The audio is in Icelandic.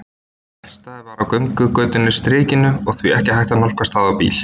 Verkstæðið var á göngugötunni Strikinu og því ekki hægt að nálgast það á bíl.